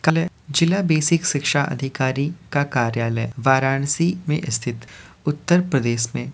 क ल जिला बेसिक शिक्षा अधिकारी का कार्यालय वाराणसी में स्थित उत्तर प्रदेश में --